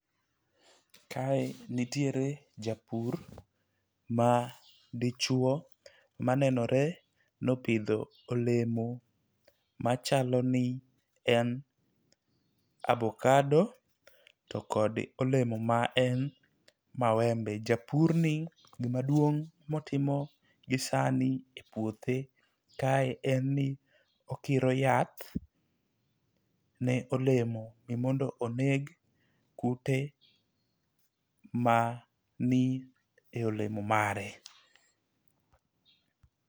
Kae nitiere japur ma dichuo manenore nopidho olemo machalo ni en abokado to kod olemo ma en mawembe. Japur ni gimaduong motimo gi sani e puothe kae en ni okiro yath ne olemo ne mondo oneg kute mani e olemo mare.